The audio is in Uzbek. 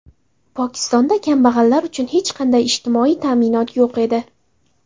Pokistonda kambag‘allar uchun hech qanday ijtimoiy ta’minot yo‘q edi.